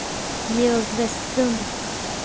Georg Vestlund